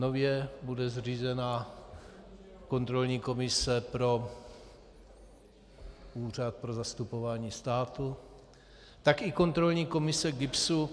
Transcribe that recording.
Nově bude zřízena kontrolní komise pro Úřad pro zastupování státu, tak i kontrolní komise GIBS.